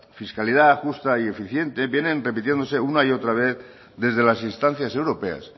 fiscalidad justa y eficiente vienen repitiéndose una y otra vez desde las instancias europeas